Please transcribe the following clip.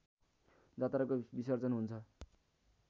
जात्राको विसर्जन हुन्छ